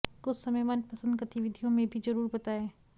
कुछ समय मन पसंद गतिविधियों में भी जरूर बताएं